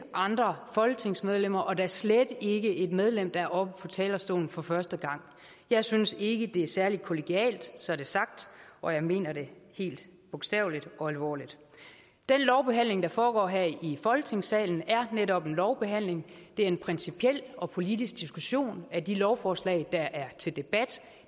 andre folketingsmedlemmer og da slet ikke et medlem der er oppe på talerstolen for første gang jeg synes ikke det er særlig kollegialt så er det sagt og jeg mener det helt bogstaveligt og alvorligt den lovbehandling der foregår her i folketingssalen er netop en lovbehandling det er en principiel og politisk diskussion af de lovforslag der er til debat